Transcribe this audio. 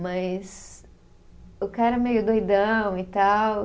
Mas o cara meio doidão e tal.